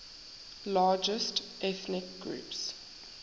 largest ethnic groups